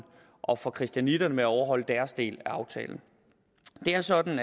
og for christianitterne med at overholde deres del af aftalen det er sådan